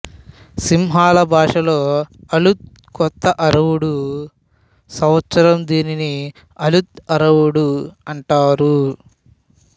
సింహళ భాషలో అలుత్ కొత్త అవురుడు సంవత్సరం దీనిని అలుత్ అవురుడు అంటారు